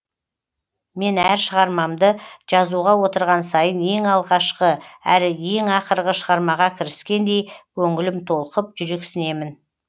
мен әр шығармамды жазуға отырған сайын ең алғашқы әрі ең ақырғы шығармаға кіріскендей көңілім толқып жүрексінемін